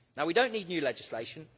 Now we don't need new legislation.